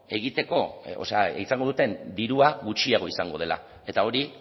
egiteko o sea izango duten dirua gutxiago izango dela eta hori